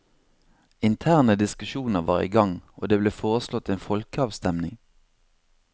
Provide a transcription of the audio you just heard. Interne diskusjoner var i gang, og det ble foreslått en folkeavstemming.